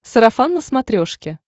сарафан на смотрешке